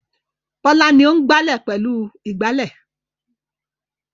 Bọ́lá ni ó ń gbálẹ̀ pẹ̀lú ìgbálẹ̀.